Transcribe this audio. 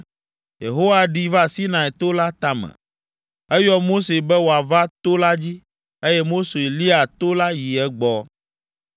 Yehowa ɖi va Sinai to la tame. Eyɔ Mose be wòava to la dzi, eye Mose lia to la yi egbɔ.